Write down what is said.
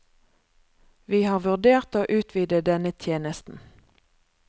Vi har vurdert å utvide denne tjenesten.